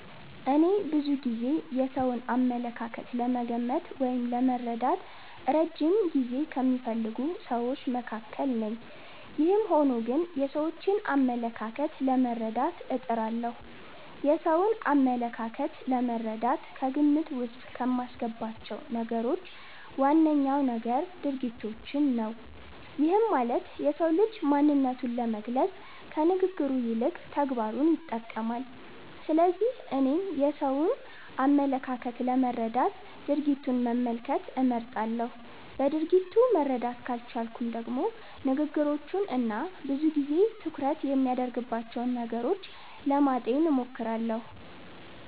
እኔ ብዙ ጊዜ የሰውን አመለካከት ለመገመት ወይም ለመረዳት እረጅም ጊዜ ከሚፈልጉ ስዎች መካከል ነኝ። ይህም ሆኖ ግን የሰዎችን አመለካከት ለመረዳት እጥራለሁ። የሰውን አመለካከት ለመረዳት ከግምት ዉስጥ ከማስገባቸው ነገሮች ዋነኛው ነገር ድርጊቶችን ነው። ይህም ማለት የሰው ልጅ ማንነቱን ለመግለፅ ከንግግሩ ይልቅ ተግባሩን ይጠቀማል። ስለዚህ እኔም የሰውን አመለካከት ለመረዳት ድርጊቱን መመልከት እመርጣለሁ። በድርጊቱ መረዳት ካልቻልኩም ደግሞ ንግግሮቹን እና ብዙ ጊዜ ትኩረት የሚያደርግባቸውን ነገሮች ለማጤን እሞክራለሁ።